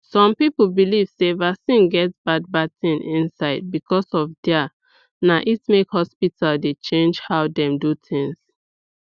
some people believe sey vaccine get bad bad things inside because of their na it make hospital dey change how dem do things